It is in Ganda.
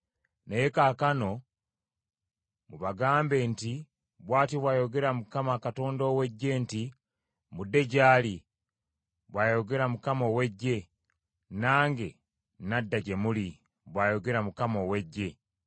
Naye kaakano mubagambe nti: Bw’atyo bw’ayogera Mukama Katonda ow’eggye nti, ‘Mudde gye ndi,’ bw’ayogera Mukama ow’Eggye, ‘nange nadda gye muli,’ bw’ayogera Mukama ow’Eggye.